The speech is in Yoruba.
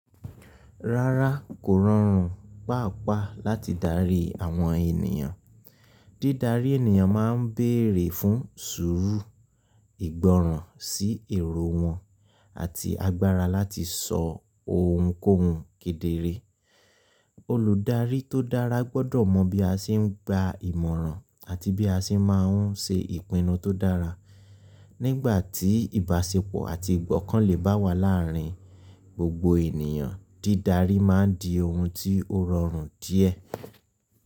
Rárá kò rọrùn pàápàá láti darí àwọn ènìyàn. Dídarí ènìyàn ma ń bèerè fún sùúrù, ìgbọ́ràn sí èrò wọn àti agbára láti sọ ohunkóhun kedere. Olùdarí tó dára gbọ́dọ̀ mọ bí a ṣe ń gba ìmọ̀ràn àti bí a ṣe má ń ṣe ìpinnu tó dára. Nígbà tí ìbáṣepọ̀ àti ìgbọ́kànlè bá wà láàrin gbogbo ènìyàn, dídarí ma ń di ohun tí ó rọrùn díẹ̀.